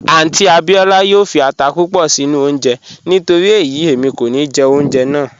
Àunty Abíọla yoo fí àtà púpọ̀ sinu ọ̀unje nítorí eyi emi kò ní jẹ ọ̀unjẹ́ náà